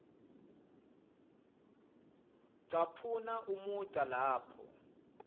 caphuna umugca lapho